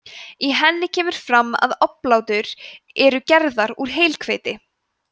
í henni kemur fram að oblátur eru gerðar úr heilhveiti